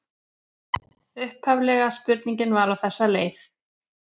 Upphaflega spurningin var á þessa leið: